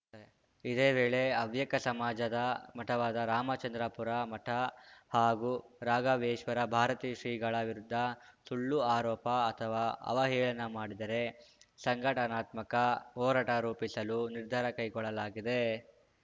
ಇದೇ ವೇಳೆ ಹವ್ಯಕ ಸಮಾಜದ ಮಠವಾದ ರಾಮಚಂದ್ರಾಪುರ ಮಠ ಹಾಗೂ ರಾಘವೇಶ್ವರ ಭಾರತೀ ಶ್ರೀಗಳ ವಿರುದ್ಧ ಸುಳ್ಳು ಆರೋಪ ಅಥವಾ ಅವಹೇಳನ ಮಾಡಿದರೆ ಸಂಘಟನಾತ್ಮಕ ಹೋರಾಟ ರೂಪಿಸಲು ನಿರ್ಧಾರ ಕೈಗೊಳ್ಳಲಾಗಿದೆ